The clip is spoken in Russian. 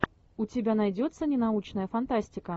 у тебя найдется ненаучная фантастика